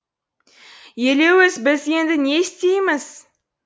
елеуіз біз енді не істейміз